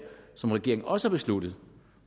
som regeringen også har besluttet